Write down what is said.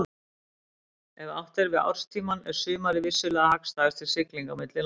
Ef átt er við árstímann er sumarið vissulega hagstæðast til siglinga milli landa.